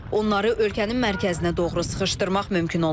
Onları ölkənin mərkəzinə doğru sıxışdırmaq mümkün olub.